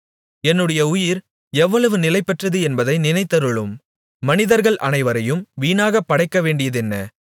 என்னுடைய உயிர் எவ்வளவு நிலையற்றது என்பதை நினைத்தருளும் மனிதர்கள் அனைவரையும் வீணாக படைக்கவேண்டியதென்ன